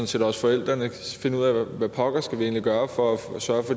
set også forældrene finde ud af hvad pokker skal gøre for at